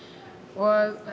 og